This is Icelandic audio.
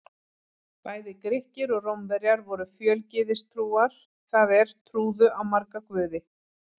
Bæði Grikkir og Rómverjar voru fjölgyðistrúar, það er trúðu á marga guði.